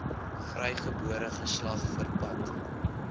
vrygebore geslag verpand